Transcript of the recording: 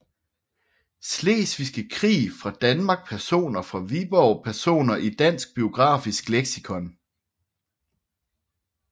Slesvigske Krig fra Danmark Personer fra Viborg Personer i Dansk Biografisk Leksikon